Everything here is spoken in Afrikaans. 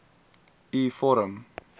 u vorm